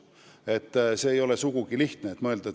See töö ei ole sugugi lihtne.